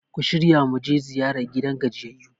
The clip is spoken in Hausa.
ku shirya mu je ziyara gidan gajiyayyu!